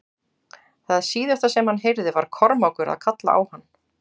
Það síðasta sem hann heyrði var Kormákur að kalla á hann.